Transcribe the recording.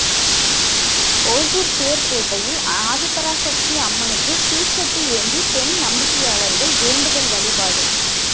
ஒசூர் தேர்பேட்டையில் ஆதிபராசக்தி அம்மனுக்கு தீச்சட்டி ஏந்தி பெண் நம்பிக்கையாளர்கள் வேண்டுதல் வழிபாடு